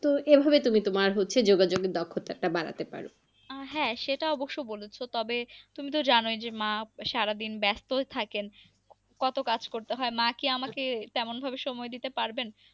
তো এভাবে তুমি তোমার হচ্ছে যোগাযোগ এর দক্ষতাটা বাড়াতে পারো আহ হ্যাঁ সেটা অবশ্য বলেছ তবে, তুমি তো জানোই মা সারাদিন ব্যাস্তই থাকেন, কত কাজ করতে হয় মা কি আমাকে তেমন ভাবে সময় দিতে পারবেন।